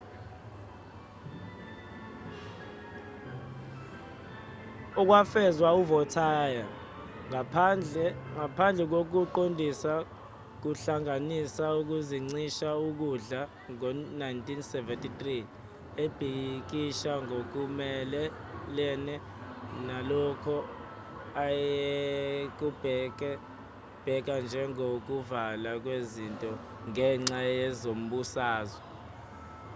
okwafezwa uvautier ngaphandle kokuqondisa kuhlanganisa ukuzincisha ukudla ngo-1973 ebhikisha ngokumelene nalokho ayekubheka njengokuvalwa kwezinto ngenxa yezombusazwe